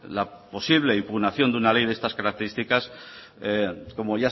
la posible impugnación de una ley de estas características como